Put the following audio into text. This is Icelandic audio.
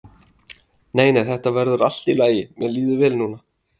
Nei nei, þetta verður allt í lagi, mér líður vel núna.